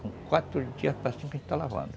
Com quatro dias para cinco a gente está lavando.